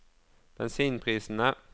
bensinprisene